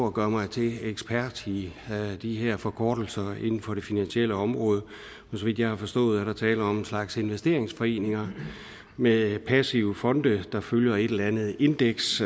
og gøre mig til ekspert i de her forkortelser inden for det finansielle område så vidt jeg har forstået er der tale om en slags investeringsforeninger med passive fonde der følger et eller andet indeks